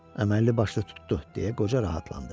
Əməlli başlı tutdu, deyə qoca rahatlandı.